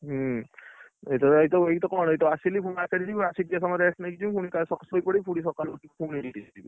ହୁଁ, ଏଇତ ଏଇତ କଣ ଏଇତ ଆସିଲି ଫୁଣି market ଜୀବି ଆସିକି ଟିକେ ସମୟ rest ନେଇକି ଯିବୁ ଫୁଣି କାଲି ସଖାଳେ ଶୋଇପଡ଼ିବି ଫୁଣି ସଖାଳେ ଉଠି ପୁଣି duty ଯିବି।